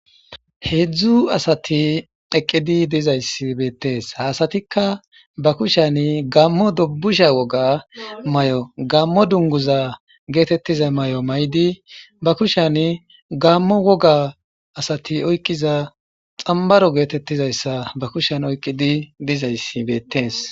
Heedzdzu asati eqqidi diza issi beettes.ha asatika ba kushiyan gaamo dubusha woga mayo gaamo dunguza geetetiza mayo mayidi ba kushiyan gamo woga asati oyiqqiza xamibaro geetetiza issa ba kushiyan oyiqqidi diza issi beettes.